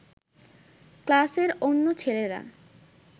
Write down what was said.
ক্লাসের অন্য ছেলেরা